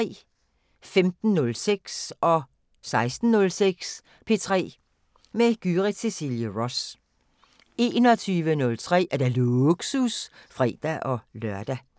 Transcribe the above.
15:06: P3 med Gyrith Cecilie Ross 16:06: P3 med Gyrith Cecilie Ross 21:03: Lågsus (fre-lør)